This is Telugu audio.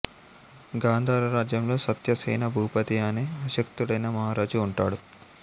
గాంధార రాజ్యంలో సత్యసేన భూపతి అనే అశక్తుడైన మహారాజు ఉంటాడు